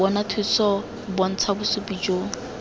bona thuso bontsha bosupi jo